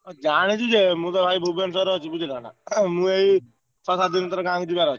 ଜାଣିଛି ଯେ ମୁଁ ତ ଭାଇ ଭୁବନେଶ୍ବର ଏଵ ଅଛି ବୁଝିଲ ନା। ଏ ମୁଁ ଏଇ ଛଅ ସାତ ଦିନ ଭିତରେ ଗାଁ କୁ ଯିବାର ଅଛି।